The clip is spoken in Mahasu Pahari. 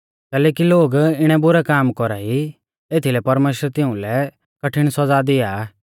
कैलैकि लोग इणै बुरै काम कौरा ई एथीलै परमेश्‍वर तिउलै कठिण सौज़ा दिया आ